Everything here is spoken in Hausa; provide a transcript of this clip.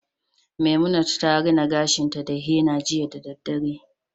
Memunant rina gashinta da henna jiya da daddare